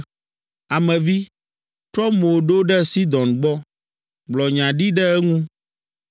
“Ame vi, trɔ mo ɖo ɖe Sidon gbɔ. Gblɔ nya ɖi ɖe eŋu,